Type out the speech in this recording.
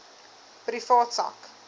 privaat sak